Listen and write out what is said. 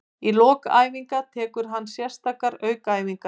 Í lok æfinga tekur hann sérstakar aukaæfingar.